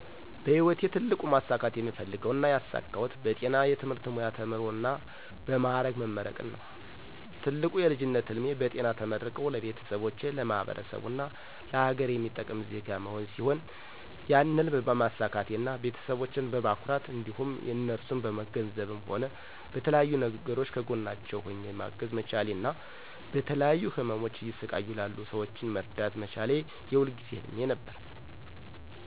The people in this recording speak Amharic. በህይወቴ ትልቁ ማሳካት የምፈልገው እና ያሳካሁት በጤና የትምህርት ሙያ ተምሮ እና በ ማዕረግ መመረቅን ነው። ትልቁ የልጅነት ህልሜ በጤና ተመርቆ ለቤተሰቦቼ፣ ለማህበረሰቡ እና ለሀገር የሚጠቅም ዜጋ መሆን ሲሆን ያን ህልም በማሳካቴ እና ቤተሰቦቸን በማኩራቴ እንዲሁም እነርሱን በገንዘብም ሆነ በተለያዩ ነገሮች ከጎናቸው ሆኘ ማገዝ መቻሌ እና በተለያዩ ህመሞች እየተሰቃዩ ላሉ ሰወችን መርዳት መቻሌ የሁል ጊዜ ህልሜ ነበር።